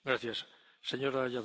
Panie Przewodniczący!